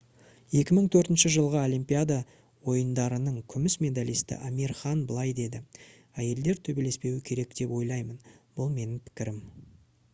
2004 жылғы олимпиада ойындарының күміс медалисті амир хан былай деді: «әйелдер төбелеспеуі керек деп ойлаймын. бұл менің пікірім»